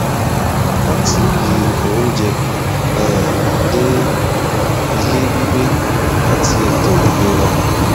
látibí oúnjẹ um dé ilé gbígbé àti ètò ìlera